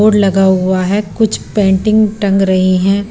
Board लगा हुआ है कुछ पेंटिंग टंग रही हैं।